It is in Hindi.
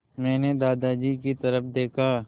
मैंने दादाजी की तरफ़ देखा